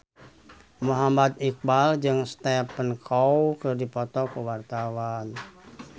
Muhammad Iqbal jeung Stephen Chow keur dipoto ku wartawan